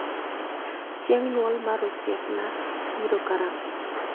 Chieng' nyuol mar osiepna biro karang'o